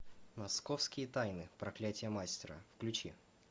московские тайны проклятие мастера включи